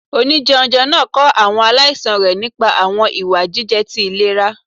Onijẹunjẹ naa kọ awọn alaisan rẹ nipa awọn iwa jijẹ ti ilera.